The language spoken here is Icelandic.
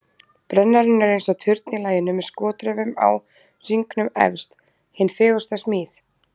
Brennarinn er eins og turn í laginu með skotraufum á hringnum efst, hin fegursta smíð.